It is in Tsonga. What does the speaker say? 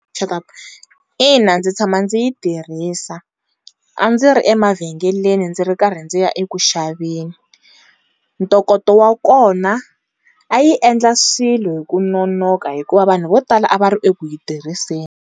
ina ndzi tshama ndzi yi tirhisa a ndzi ri emavhengeleni ndzi ri karhi ndzi ya eku xaveni, ntokoto wa kona a yi endla swilo hi ku nonoka hikuva vanhu vo tala a va ri eku yi tirhiseni.